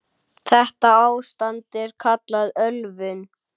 Þetta ástand er kallað ölvun.